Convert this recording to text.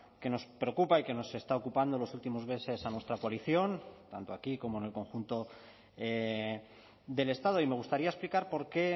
que nos preocupa y que nos está ocupando los últimos meses a nuestra coalición tanto aquí como en el conjunto del estado y me gustaría explicar por qué